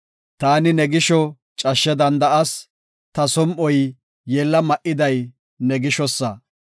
Ta ne gisho cashshe danda7as; ta som7oy yeella ma7iday ne gishosa.